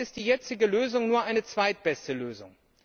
Trotzdem ist die jetzige Lösung nur eine zweitbeste Lösung.